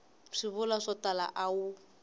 swivulwa swo tala a wu